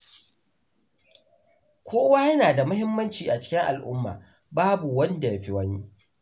Kowa yana da muhimmanci a cikin al’umma, babu wanda ya fi wani.